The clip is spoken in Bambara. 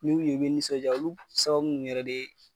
N'i y'u ye i be nisɔndiya olu b sababu ninnu yɛrɛ de